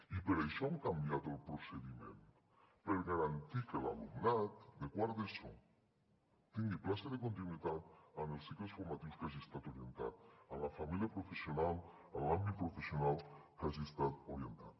i per això hem canviat el procediment per garantir que l’alumnat de quart d’eso tingui plaça de continuïtat en els cicles formatius a què hagi estat orientat en la família professional en l’àmbit professional a què hagi estat orientat